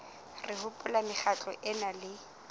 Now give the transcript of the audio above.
re hopola mekgatlo ena le